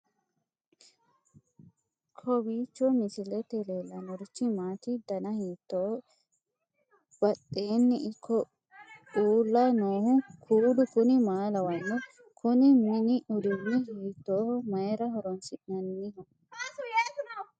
kowiicho misilete leellanorichi maati ? dana hiittooho ?abadhhenni ikko uulla noohu kuulu kuni maa lawannoho? kuni mini uduunni hiitooho mayra horoonsi'nanniho